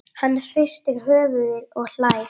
Hann hristir höfuðið og hlær.